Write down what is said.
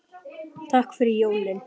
Sé þig síðar, kæri.